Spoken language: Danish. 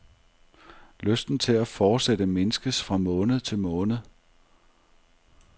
Lysten til at fortsætte mindskes fra måned til måned.